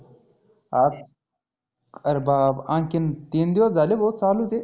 हा आरंं बाप आनखीन तीन दिवस झाले भो चालुच आहे.